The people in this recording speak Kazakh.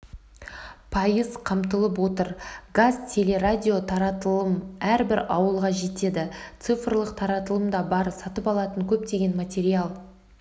пайыз қамтылып отыр қазтелерадио таратылым әрбір ауылға жетеді цифрлық таратылым да бар сатып алатын көптеген материал